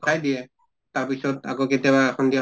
খাই দিয়ে। তাৰ পিছত আকৌ কেতিয়াবা সন্ধিয়া